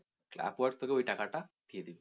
upwork তোকে ওই টাকা টা দিয়ে দেবে।